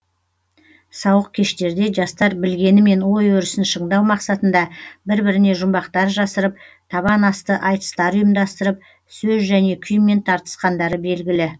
сауық кештерде жастар білгенімен ой өрісін шыңдау мақсатында бір біріне жұмбақтар жасырып табан асты айтыстар ұйымдастырып сөз және күймен тартысқандары белгілі